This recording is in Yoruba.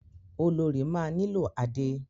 Olorì máa nílò adé.